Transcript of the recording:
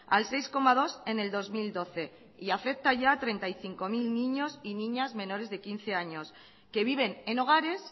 al seis coma dos en el dos mil doce y afecta ya a treinta y cinco mil niños y niñas menores de quince años que viven en hogares